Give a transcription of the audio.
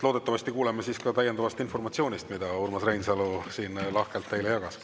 Loodetavasti kuuleme siis ka informatsioonist, mida Urmas Reinsalu teile lahkelt jagas.